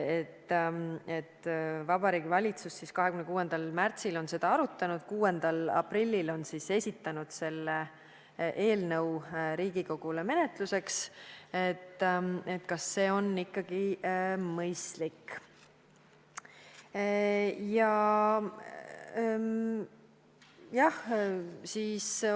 Kui Vabariigi Valitsus 26. märtsil seda arutas ja 6. aprillil esitas eelnõu Riigikogule menetluseks, siis kas see on ikkagi mõistlik?